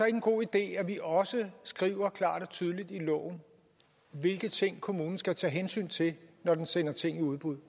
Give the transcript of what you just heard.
en god idé at vi også skriver klart og tydeligt i loven hvilke ting kommunen skal tage hensyn til når den sender ting i udbud